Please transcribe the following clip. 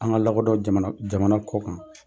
An ŋa lakɔdɔ jamana jamana kɔkan.